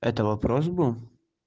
это вопрос был